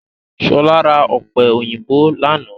Ṣọlá ra ọ̀pẹ̀ òyìnbó lánàá